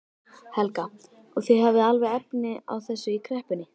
Helga: Og þið hafið alveg efni á þessu í kreppunni?